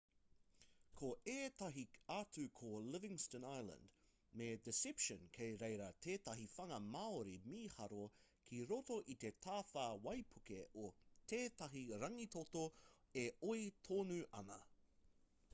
ko ētahi atu ko livingston island me deception kei reira tētahi whanga māori mīharo ki roto i te tawhā waipuke o tētahi rangitoto e oi tonu ana